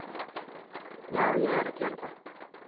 Já, ég er að gera það.